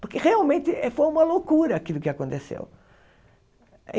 Porque realmente eh foi uma loucura aquilo que aconteceu.